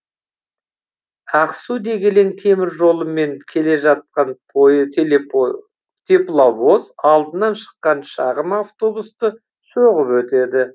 ақсу дегелең теміржолымен келе жатқан тепловоз алдынан шыққан шағын автобусты соғып өтеді